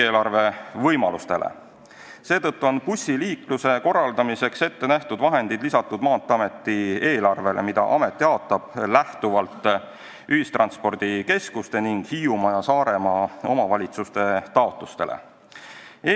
Seetõttu on Maanteeameti eelarvele lisatud bussiliikluse korraldamiseks ette nähtud vahendid, mida amet jaotab ühistranspordikeskuste ning Hiiumaa ja Saaremaa omavalitsuse taotlustest lähtudes.